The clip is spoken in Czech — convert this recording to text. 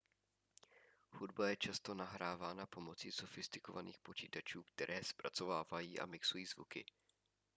hudba je často nahrávána pomocí sofistikovaných počítačů které zpracovávají a mixují zvuky